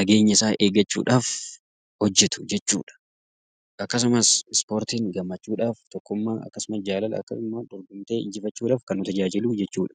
nageenya isaa eeggachuudhaaf hojjetu jechuudha. Akkasumas ispoortiin gammachuudhaaf, tokkummaa akkasumas jaalala akkasumas wal dhabdee injifachuudhaaf kan nu gargaarudha jechuudha.